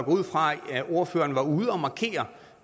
ud fra at ordføreren var ude